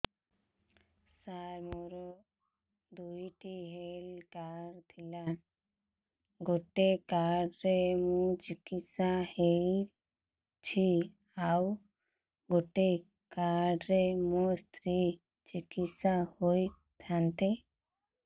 ସାର ମୋର ଦୁଇଟି health card ଥିଲା ଗୋଟେ କାର୍ଡ ରେ ମୁଁ ଚିକିତ୍ସା ହେଉଛି ଆଉ ଗୋଟେ କାର୍ଡ ରେ ମୋ ସ୍ତ୍ରୀ ଚିକିତ୍ସା ହୋଇଥାନ୍ତେ